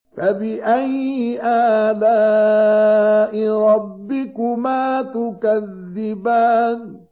فَبِأَيِّ آلَاءِ رَبِّكُمَا تُكَذِّبَانِ